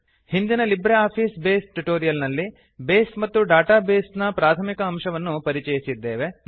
ಹಿಂದಿನ LibreOffice Base tutorial ನಲ್ಲಿ base ಮತ್ತು ಡೇಟಾ ಬೇಸ್ ನ ಪ್ರಾಥಮಿಕ ಅಂಶವನ್ನು ಪರಿಚಯಿಸಿದ್ದೇವೆ